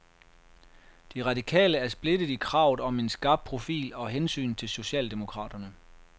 De radikale er splittet i kravet om en skarp profil og hensynet til socialdemokraterne.